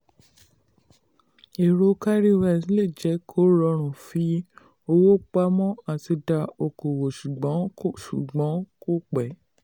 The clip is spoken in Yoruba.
ẹ̀rọ cowrywise lè jẹ́ kó rọrùn fi owó pamọ́ àti dá okoòwò ṣùgbọ́n kò ṣùgbọ́n kò pé.